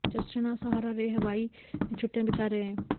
Justin और Sahara Ray Hawaii में छुट्टियां बिता रहें हैं